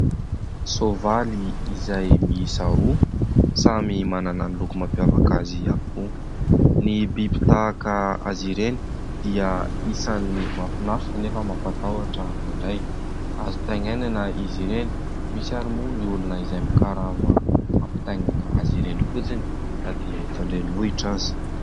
Sovaly izay miisa roa, samy manana ny loko-mampiavaka azy avokoa. Ny biby tahaka azy ireny dia isan'ny mahafinaritra anefa mampatahotra indraindray. Azo taingenana izy ireny ; misy ary moa ny olona izay mikarama mampampitaingina azy ireny fotsiny na dia eto an-drenivohitra aza.